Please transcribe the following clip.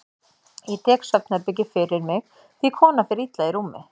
Ég tek svefnherbergið fyrir mig því konan fer illa í rúmi.